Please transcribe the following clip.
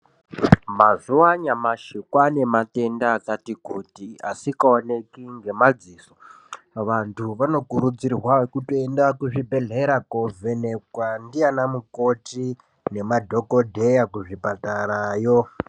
Mazuwa anyamashi kwaane matenda akati kuti asikaoneki ngemadziso vanthu vanokurudzirwa kutoenda kuzvibhedhlera koovhenekwa ndiana ndiana mukoti kana madhokodheya kuzvipatarayo.